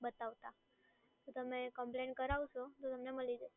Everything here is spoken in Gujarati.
બતાવતા. તમે કમ્પ્લેન કરાવશો તો તમને મળી જશે.